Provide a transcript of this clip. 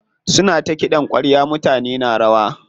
Suna ta kiɗan ƙwarya mutane na rawa.